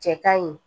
Cɛ kaɲi